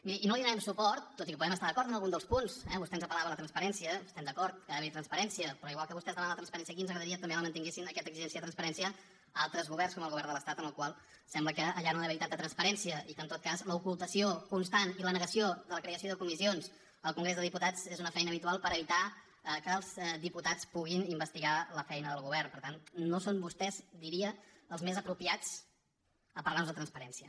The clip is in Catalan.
miri i no li donarem suport tot i que podem estar d’acord en algun dels punts eh vostè ens apel·lava a la transparència estem d’acord que ha d’haverhi transparència però igual que vostès demanen la transparència aquí ens agradaria que també mantinguessin aquesta exigència de transparència a altres governs com el govern de l’estat en el qual sembla que allà no hi ha d’haver tanta transparència i que en tot cas l’ocultació constant i la negació de la creació de comissions al congrés dels diputats és una feina habitual per evitar que els diputats puguin investigar la feina del govern per tant no són vostès diria els més apropiats per parlarnos de transparència